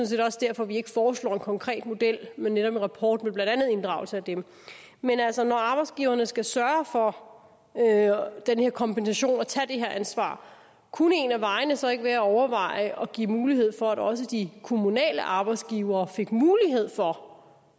set også derfor vi ikke foreslår en konkret model men netop en rapport med blandt andet inddragelse af dem men altså når arbejdsgiverne skal sørge for den her kompensation og tage det her ansvar kunne en af vejene så ikke være at overveje at give mulighed for at også de kommunale arbejdsgivere fik mulighed for